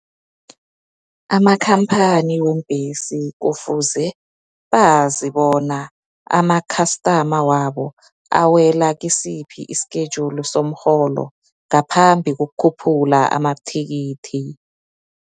Amakhamphani weembhesi, kufuze bazibona amakhastama wabo awela kisiphi isikhejuli somrholo, ngaphambi kokhuphula amathikithi.